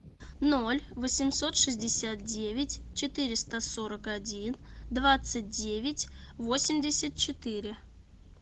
ноль восемьсот шестьдесят девять четыреста сорок один двадцать девять восемьдесят четыре